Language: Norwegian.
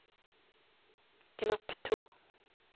knapp to